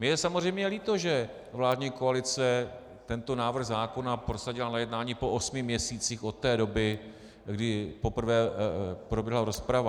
Mně je samozřejmě líto, že vládní koalice tento návrh zákona prosadila na jednání po osmi měsících od té doby, kdy poprvé proběhla rozprava.